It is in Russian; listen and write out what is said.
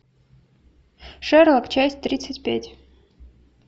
шерлок часть тридцать пять